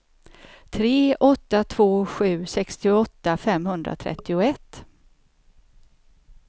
tre åtta två sju sextioåtta femhundratrettioett